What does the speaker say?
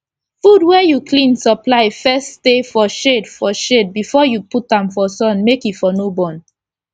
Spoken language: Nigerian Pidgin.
fud wey u clean supply first stay for shade for shade before u put am for sun make e for no burn